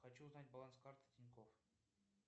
хочу узнать баланс карты тинькофф